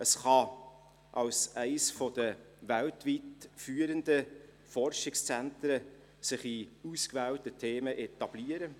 Es kann sich als eines der weltweit führenden Forschungszentren in ausgewählten Themen etablieren.